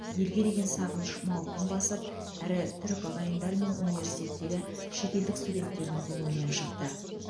елге деген сағыныш мауқын басып әрі түрік ағайындар мен университеттегі шетелдік студенттердің көңілінен шықты